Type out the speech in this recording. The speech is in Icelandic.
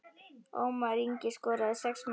Ómar Ingi skoraði sex mörk.